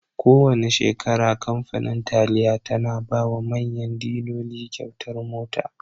Kowana shekara kamfanin taliya tana bawa manyan diloli kyautar mota.